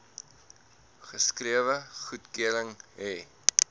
geskrewe goedkeuring hê